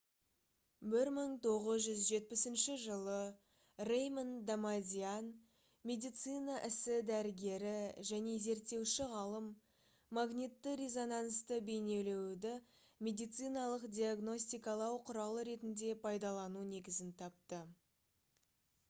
1970 жылы рэймонд дамадиан медицина ісі дәрігері және зерттеуші ғалым магнитті-резонансты бейнелеуді медициналық диагностикалау құралы ретінде пайдалану негізін тапты